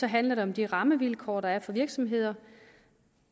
handler det om de rammevilkår der er for virksomheder